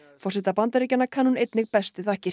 forseta Bandaríkjanna kann hún einnig bestu þakkir